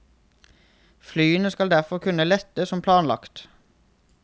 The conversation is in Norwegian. Flyene skal derfor kunne lette som planlagt.